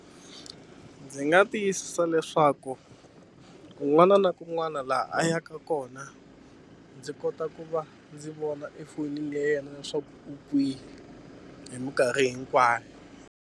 Ndzi nga tiyisisa leswaku kun'wana na kun'wana laha a yaka kona ndzi kota ku va ndzi vona efonini ya yena leswaku u kwihi hi minkarhi hinkwayo.